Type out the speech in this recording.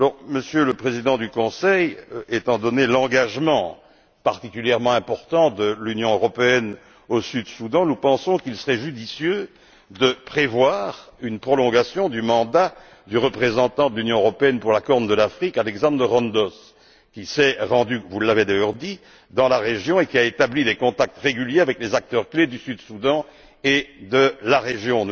Monsieur le Président du Conseil, étant donné l'engagement particulièrement important de l'Union européenne au Soudan du Sud, nous pensons qu'il serait judicieux de prévoir une prolongation du mandat du représentant de l'Union européenne pour la corne de l'Afrique, Alexander Rondos, qui s'est rendu vous l'avez d'ailleurs dit dans la région et qui a établi des contacts réguliers avec les acteurs clés du Soudan du Sud et de la région.